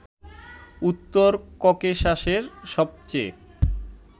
উত্তর ককেশাসের সবচেয়ে